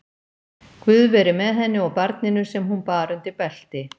Guð veri með henni og barninu sem hún bar undir belti.